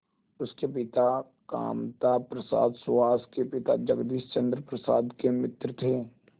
उसके पिता कामता प्रसाद सुहास के पिता जगदीश चंद्र प्रसाद के मित्र थे